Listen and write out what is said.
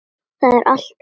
Það er alltaf von.